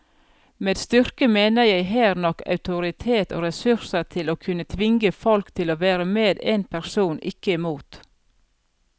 Med styrke mener jeg her nok autoritet og ressurser til å kunne tvinge folk til å være med en person, ikke mot.